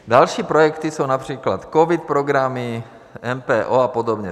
Další projekty jsou například covid programy MPO a podobně.